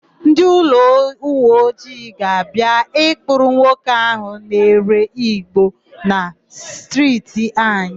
Ndịuweojii ga-abịa ịkpụrụ nwoke áhụ̀ na-ere ìgbó na stirti anyị.